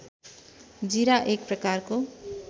जीरा एक प्रकारको